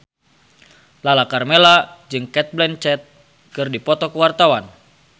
Lala Karmela jeung Cate Blanchett keur dipoto ku wartawan